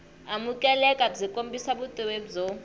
amukeleka byi kombisa vutivi byo